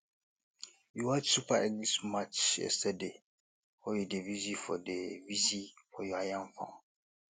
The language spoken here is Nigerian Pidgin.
you watch super eagles match yesterday or you dey busy for dey busy for your yam farm